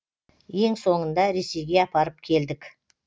ең соңында ресейге апарып келдік